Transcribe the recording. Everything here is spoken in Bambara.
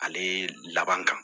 Ale laban ka